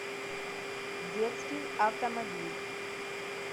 детский автомобиль